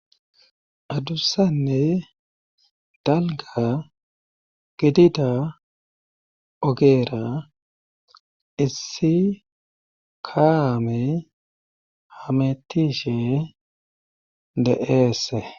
adussanne dalga gidida ogeera issi kaame hametishe de7eese